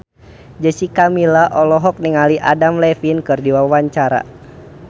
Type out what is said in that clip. Jessica Milla olohok ningali Adam Levine keur diwawancara